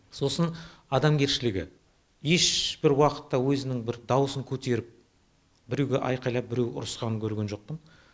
сосын адамгершілігі ешбір уақыта өзінің бір дауысын көтеріп біреуге айқайлап біреу ұрысқанын көрген жоқпын